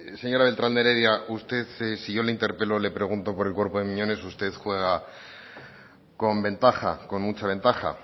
señora beltrán de heredia usted si yo le interpelo o le pregunto por el cuerpo de miñones usted juega con ventaja con mucha ventaja